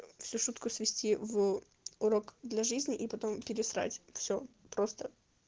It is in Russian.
всю шутку свести в урок для жизни и потом пересрать всё просто